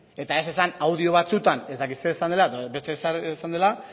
eta ez esan audio batzuetan ez dakit zer esan dela edo beste ezer esan dela